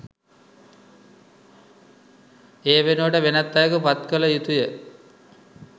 ඒ වෙනුවට වෙනත් අයෙකු පත් කළ යුතුය